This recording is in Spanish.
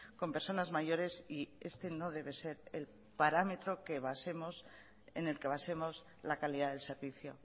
con personas mayores y este no debe ser el parámetro que basemos en el que basemos la calidad del servicio